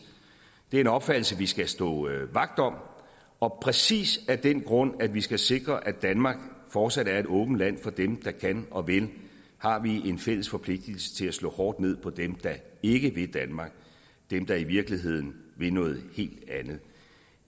det er en opfattelse vi skal stå vagt om og præcis af den grund at vi skal sikre at danmark fortsat er et åbent land for dem der kan og vil har vi en fælles forpligtelse til at slå hårdt ned på dem der ikke vil danmark dem der i virkeligheden vil noget helt andet